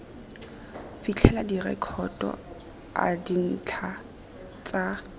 fitlhelela direkoto a dintlha tsa